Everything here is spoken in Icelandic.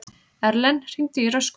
Erlen, hringdu í Röskvu.